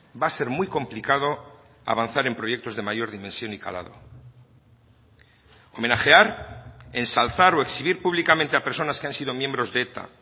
va a ser muy complicado avanzar en proyectos de mayor dimensión y calado homenajear ensalzar o exhibir públicamente a personas que han sido miembros de eta